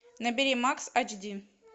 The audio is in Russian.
набери макс ач ди